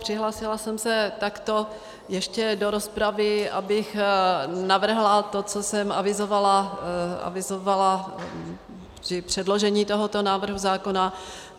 Přihlásila jsem se takto ještě do rozpravy, abych navrhla to, co jsem avizovala při předložení tohoto návrhu zákona.